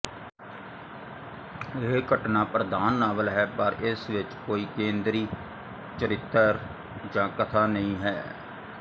ਇਹ ਘਟਨਾ ਪ੍ਰਧਾਨ ਨਾਵਲ ਹੈ ਪਰ ਇਸ ਵਿੱਚ ਕੋਈ ਕੇਂਦਰੀ ਚਰਿੱਤਰ ਜਾਂ ਕਥਾ ਨਹੀਂ ਹੈ